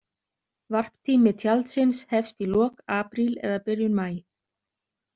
Varptími tjaldsins hefst í lok apríl eða byrjun maí.